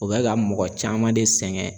U bɛ ka mɔgɔ caman de sɛgɛn.